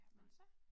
Nej